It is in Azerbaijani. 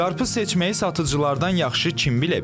Qarpız seçməyi satıcılardan yaxşı kim bilə bilər ki?